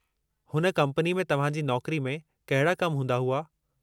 हुन कम्पनी में तव्हां जी नौकरी में कहिड़ा कम हूंदा हुआ?